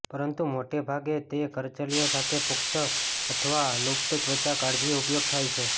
પરંતુ મોટે ભાગે તે કરચલીઓ સાથે પુખ્ત અથવા લુપ્ત ત્વચા કાળજી ઉપયોગ થાય છે